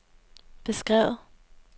beskrevet